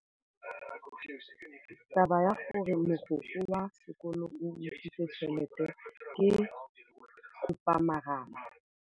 Taba ya gore mogokgo wa sekolo o utswitse tšhelete ke khupamarama.